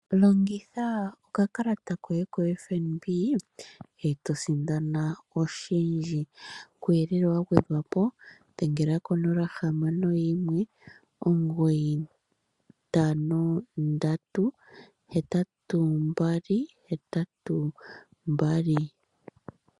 Longitha okakalata koye ko FNB eto sindana oshindji, kuuyelele wa gwedhwapo dhengela ko 061 2992222.